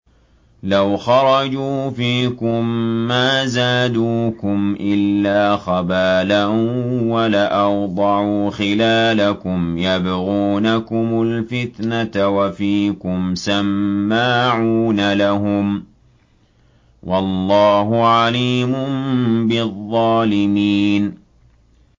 لَوْ خَرَجُوا فِيكُم مَّا زَادُوكُمْ إِلَّا خَبَالًا وَلَأَوْضَعُوا خِلَالَكُمْ يَبْغُونَكُمُ الْفِتْنَةَ وَفِيكُمْ سَمَّاعُونَ لَهُمْ ۗ وَاللَّهُ عَلِيمٌ بِالظَّالِمِينَ